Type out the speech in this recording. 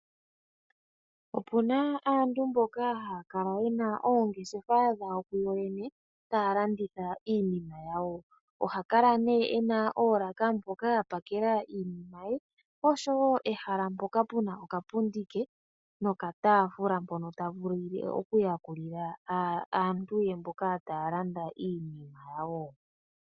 Opu na aantu mboka haya kala ye na oongeshefa dhawo kuyo yene taya landitha iinima yawo. Oha kala nduno e na oolaka mpoka a pakela iinima ye noshowo ehala mpoka pu na okapundi ke nokataafula mpoka ta vulu okuyakulila aantu ye mboka taya landa iinima yawo.